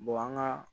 an ka